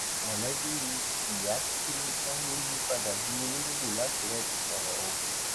mọlẹbí ìyá tí wọn lọ yípadà di òlòǹgbò làkùrẹ ti sọrọ o